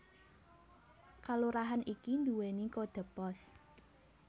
Kalurahan iki nduwèni kodhe pos